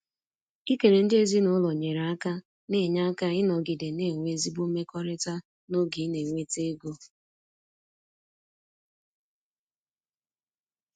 Ikele ndị ezinụlọ nyere aka na-enye aka ịnọgide na-enwe ezigbo mmekọrịta n’oge ị na-enweta ego.